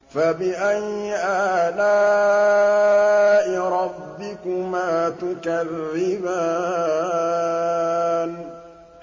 فَبِأَيِّ آلَاءِ رَبِّكُمَا تُكَذِّبَانِ